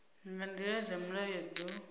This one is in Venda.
nga nḓila dza mulayo dzo